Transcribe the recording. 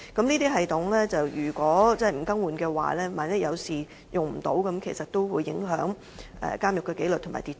這些系統如果不更換的話，一旦發生事故而無法使用，便會影響監獄的紀律和秩序。